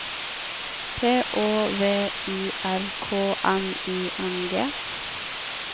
P Å V I R K N I N G